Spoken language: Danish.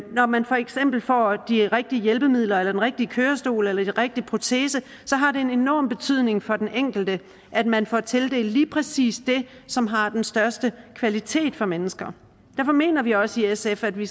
når man for eksempel får de rigtige hjælpemidler eller den rigtige kørestol eller den rigtige protese har det en enorm betydning for den enkelte at man får tildelt lige præcis det som har den største kvalitet for de mennesker derfor mener vi også i sf at vi